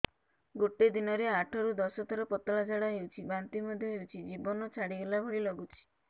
ଗୋଟେ ଦିନରେ ଆଠ ରୁ ଦଶ ଥର ପତଳା ଝାଡା ହେଉଛି ବାନ୍ତି ମଧ୍ୟ ହେଉଛି ଜୀବନ ଛାଡିଗଲା ଭଳି ଲଗୁଛି